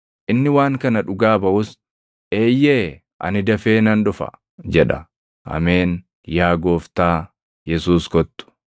Inni waan kana dhugaa baʼus, “Eeyyee, ani dafee nan dhufa” jedha. Ameen. Yaa Gooftaa Yesuus kottu.